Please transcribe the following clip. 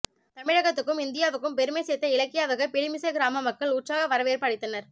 தமிழகத்துக்கும் இந்தியாவுக்கும் பெருமை சேர்த்த இலக்கியாவுக்கு பிலிமிசை கிராம மக்கள் உற்சாக வரவேற்பு அளித்தனர்